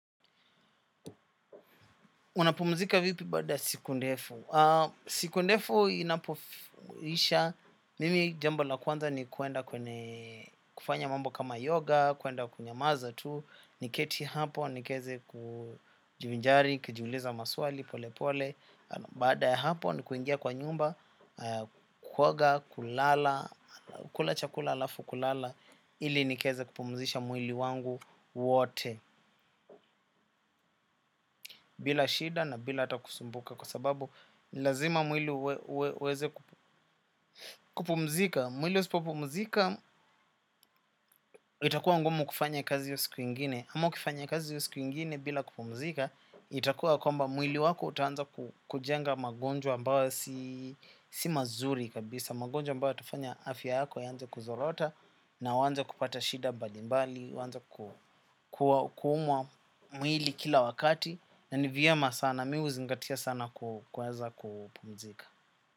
Unapumzika vipi baada siku ndefu? Siku ndefu inapoisha, mimi jambo la kwanza ni kuenda kwenye kufanya mambo kama yoga, kuenda kunyamaza tu, niketi hapo, niweze kujivinjari, nikijiuliza maswali, pole pole, bada ya hapo, ni kuingia kwa nyumba, kuoga, kulala, kula chakula alafu, kulala, ili niweze kupumzisha mwili wangu wote, bila shida na bila ata kusumbuka, kwa sababu lazima mwili uweze kupumzika. Mwili usipopumzika itakuwa ngumu kufanya kazi iyo siku ingine ama ukifanya kazi iyo siku ingine bila kupumzika. Itakuwa kwamba mwili wako utaanza kujenga magonjwa ambayo si si mazuri kabisa. Magonjwa mbayo yatafanya afya yako ianze kuzorota. Na uanze kupata shida mbadimbali uanze kuumwa mwili kila wakati. Na ni vyema sana mimi huzingatia sana kuweza kupumzika.